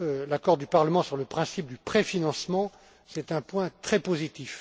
L'accord du Parlement sur le principe du préfinancement est un point très positif.